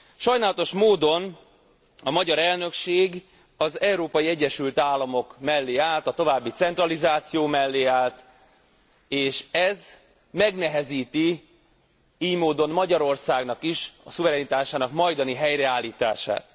Sajnálatos módon a magyar elnökség az Európai Egyesült Államok mellé állt, a további centralizáció mellé állt, és ez megnehezíti ily módon Magyarországnak is a szuverenitásának majdani helyreállítását.